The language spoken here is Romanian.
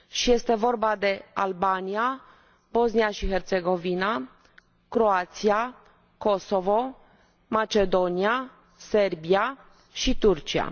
Este vorba de Albania, Bosnia și Herțegovina, Croația, Kosovo, Macedonia, Serbia și Turcia.